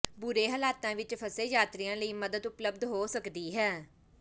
ਬੁਰੇ ਹਾਲਾਤਾਂ ਵਿਚ ਫਸੇ ਯਾਤਰੀਆਂ ਲਈ ਮਦਦ ਉਪਲਬਧ ਹੋ ਸਕਦੀ ਹੈ